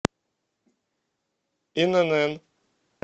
инн